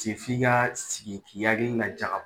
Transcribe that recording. f'i ka sigi k'i hakili lajaga